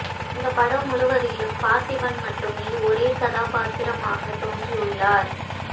இந்தப் படம் முழுவதிலும் பார்த்திபன் மட்டுமே ஒரே கதாபாத்திரமாகத் தோன்றவுள்ளார்